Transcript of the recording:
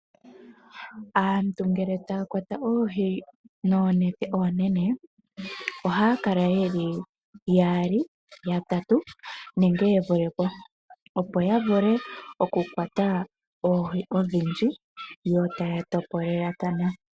Aantu ngele taya kwata oohi noonete oonene ohaya kala yeli yaali, yatatu nenge ye vule po, opo ya vule okukwata oohi odhindji, yo taya topolelathana.